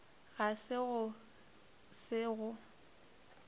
ga se go se go